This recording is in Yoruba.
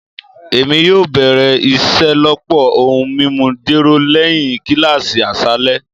Emi yoo bẹrẹ iṣelọpọ ohun mimu jero lẹhin kilasi aṣalẹ